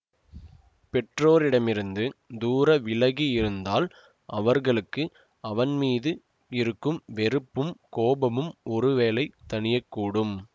பெற்றோரிடமிருந்து தூர விலகி இருந்தால் அவர்களுக்கு அவன் மீது இருக்கும் வெறுப்பும் கோபமும் ஒரு வேளை தணியக்கூடும்